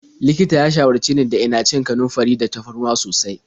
Likitan ya shawarce ni da ina cin kanunfari da tafarnuwa sosai.